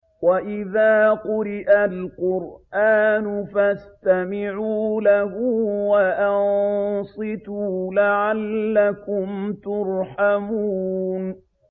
وَإِذَا قُرِئَ الْقُرْآنُ فَاسْتَمِعُوا لَهُ وَأَنصِتُوا لَعَلَّكُمْ تُرْحَمُونَ